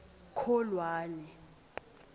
kholwane